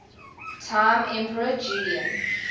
time emperor julian